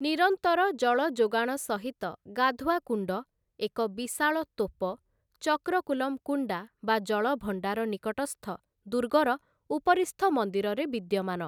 ନିରନ୍ତର ଜଳ ଯୋଗାଣ ସହିତ ଗାଧୁଆ କୁଣ୍ଡ, ଏକ ବିଶାଳ ତୋପ, ଚକ୍ରକୁଲମ୍-କୁଣ୍ଡା ବା ଜଳଭଣ୍ଡାର ନିକଟସ୍ଥ ଦୁର୍ଗର ଉପରିସ୍ଥ ମନ୍ଦିରରେ ବିଦ୍ୟମାନ ।